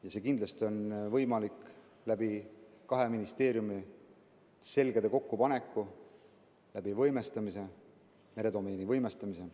See on kindlasti võimalik nii, kui kaks ministeeriumi seljad kokku panevad ja meredomeeni võimestatakse.